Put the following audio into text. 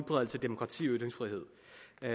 jeg